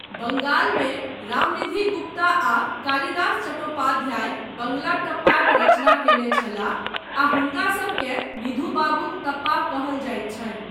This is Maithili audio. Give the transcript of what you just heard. बंगालमे रामनिधि गुप्ता आ कालिदास चट्टोपाधाय बंगला टप्पाक रचना कयने छलाह आ हुनकासभकेँ निधु बाबूक तप्पा कहल जाइत छनि।